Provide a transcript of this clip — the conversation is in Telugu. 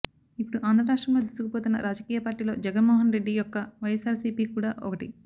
ఇప్పుడు ఆంధ్ర రాష్ట్రంలో దూసుకుపోతున్న రాజకీయ పార్టీల్లో జగన్మోహన్ రెడ్డి యొక్క వైఎస్సార్సీపీ కూడా ఒకటి